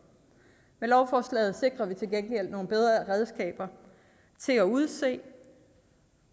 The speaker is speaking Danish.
lovforslaget sikrer vi til gengæld nogle bedre redskaber til at udse